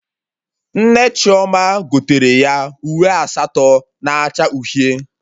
Nne Chioma gotere ya uwe asatọ na acha uhie